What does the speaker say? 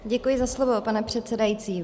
Děkuji za slovo, pane předsedající.